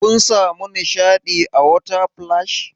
Kun samu nishaɗi a water splash?